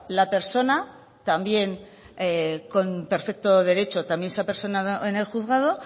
la persona también con perfecto derecho también se ha personado en el juzgado